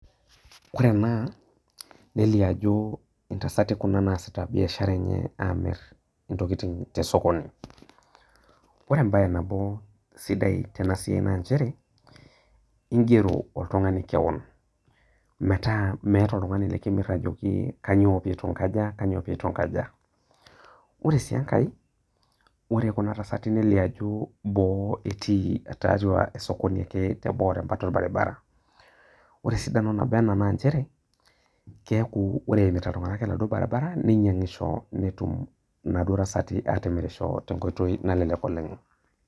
Ore enaa nelio ajo ntasati kuna naasita biashara enye amir ntokitin tosokoni, ore embae nabo sidai tenabae na nchere ingero oltungani kewon, metaa meeta oltungani likisuj ajoki kanyio pitunkaja, pitunkaja ,ore si enkae ore kuna tasati nelio ajo boo etii tiatua osokoni ake teboo embata orbaribara, ore esidano nabo ena na nchere keaku ore eimita ltunganak oladuo baribara ninyangisho netum naduo tasati atimirisho tenkoitoi nalelek oleng.